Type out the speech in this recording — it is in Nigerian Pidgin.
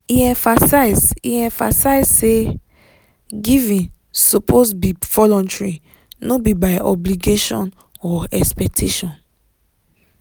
e emphasize e emphasize say giving suppose be voluntary no be by obligation or expectation.